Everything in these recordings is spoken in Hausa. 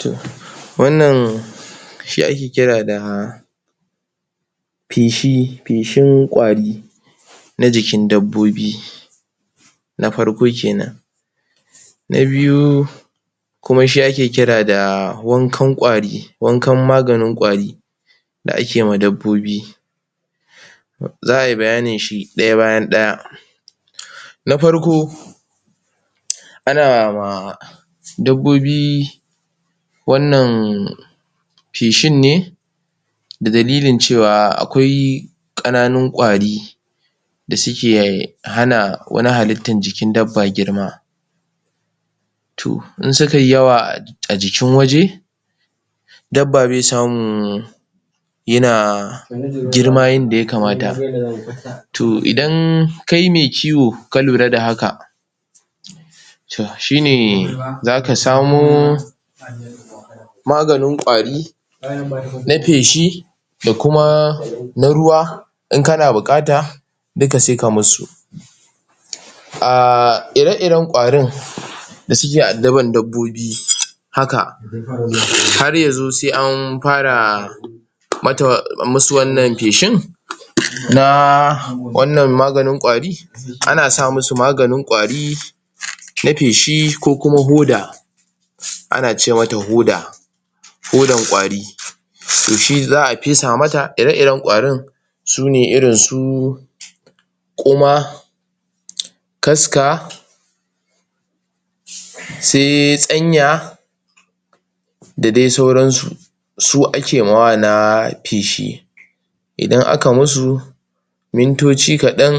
toh wannan shi ake kira da feshi feshin ƙwari na jikin dabbobi na farko kenan na biyu kuma shi ake kira da wankan ƙwari wankan maganin ƙwari da ake ma dabbobi za'a yi bayanin shi ɗaya bayan ɗaya na farko ana ma dabbobi wannan feshin ne da dalilin cewa akwai ƙananun ƙwari da suke hana wani halittan jikin dabba girma toh in suka yi yawa a jikin waje dabba bai samun yana girma yanda yakamata toh idan kai mai kiwo ka lura da haka toh shine zaka samo maganin ƙwari na feshi da kuma na ruwa in kana buƙata duka sai ka musu ahhhh ire iren ƙwarin da suke addaban dabbobi haka har yazo sai an fara mata masu wannan feshin na wannan maganin ƙwari ana sa musu maganin ƙwari na feshi ko kuma hoda ana ce mata hoda hodan ƙwari toh shi za'a fesa mata ire iren ƙwarin sune irin su ƙoma kaska sai tsanya da dai sauran su su ake yi ma wa na feshi idan aka musu mintoci kaɗan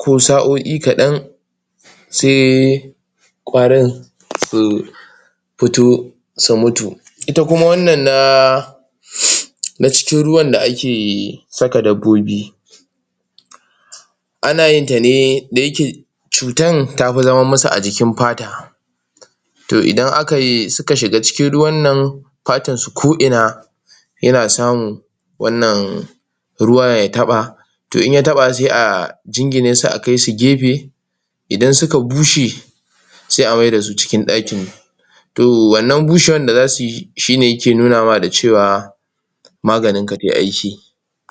ko sa'o'i kaɗan sai ƙwarin su futo su mutu ita kuma wannan na na cikin ruwan da ake saka dabbobi ana yinta ne da yake cutan tafi zama musu a jikin fata toh idan akayi suka shiga cikin ruwan nan fatan su ko ina yana samun wannan ruwa ya taɓa toh idan ya taɓa sai a jingine su a kaisu gefe idan suka bushe sai a mai da su cikin ɗakin toh wannan bushewan da zasu yi shine yake nunawa da cewa maganin ka zai aiki